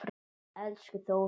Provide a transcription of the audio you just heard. Elsku Þórunn.